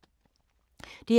DR K